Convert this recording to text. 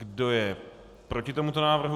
Kdo je proti tomuto návrhu?